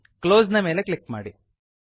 close ನ ಮೇಲೆ click ಮಾಡಿ